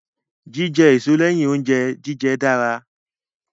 Jíjẹ èso lẹ́yìn oúnjẹ jíjẹ dára.